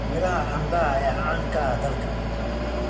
Miraha canbaha ayaa caan ka ah dalka.